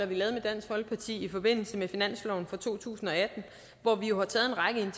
vi lavede med dansk folkeparti i forbindelse med finansloven for to tusind og atten hvor vi jo